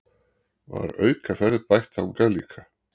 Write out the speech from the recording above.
Var aukaferð bætt þangað líka